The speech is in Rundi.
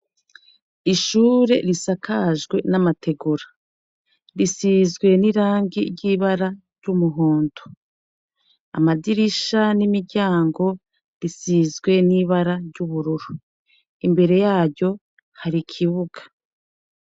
Ishure risakajwe n'amategura risize n'irangi ry'ibara ry'umuhondo. Amadirisha n'imiryango bisizwe n'ibara ry'ubururu. Imbere yaryo hari ikibuga.